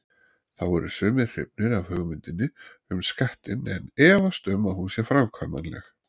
Þá eru sumir hrifnir af hugmyndinni um skattinn en efast um að hún sé framkvæmanleg.